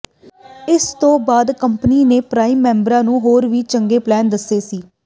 ਇਸ ਤੋਂ ਬਾਅਦ ਕੰਪਨੀ ਨੇ ਪ੍ਰਾਈਮ ਮੈਂਬਰਾਂ ਨੂੰ ਹੋਰ ਵੀ ਚੰਗੇ ਪਲਾਨ ਦਿੱਤੇ ਸੀ